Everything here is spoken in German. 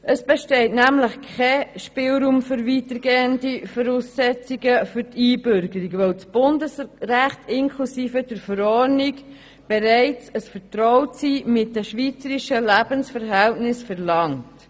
Es besteht nämlich kein Spielraum für weitergehende Voraussetzungen für die Einbürgerung, weil das Bundesrecht inklusive der Verordnung bereits ein Vertrautsein mit den schweizerischen Lebensverhältnissen verlangt.